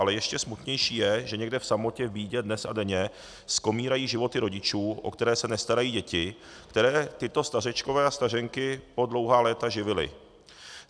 Ale ještě smutnější je, že někde v samotě v bídě dnes a denně skomírají životy rodičů, o které se nestarají děti, které tito stařečkové a stařenky po dlouhá léta živili.